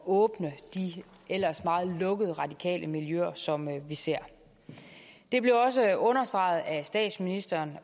åbne de ellers meget lukkede radikale miljøer som vi ser det blev også understreget af statsministeren